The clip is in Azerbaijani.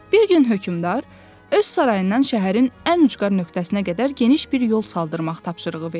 Bir gün hökmdar öz sarayından şəhərin ən ucqar nöqtəsinə qədər geniş bir yol saldırmaq tapşırığı verdi.